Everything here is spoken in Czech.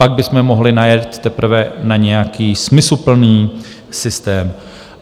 Pak bychom mohli najet teprve na nějaký smysluplný systém.